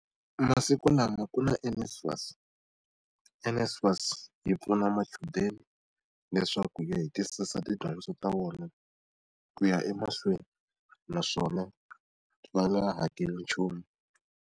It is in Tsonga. Masiku lama ku na NSFAS. NSFAS yi pfuna machudeni leswaku ya hetisisa tidyondzo ta vona ku ya emahlweni naswona va nga hakeli nchumu.